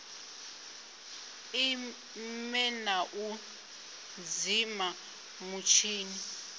ime na u dzima mutshini